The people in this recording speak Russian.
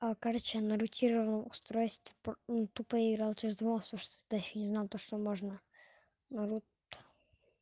а короче на рутированом устройстве ну тупо я играл через два вордстофс тогда я ещё не знал то что можно народ